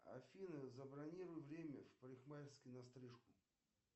афина забронируй время в парикмахерской на стрижку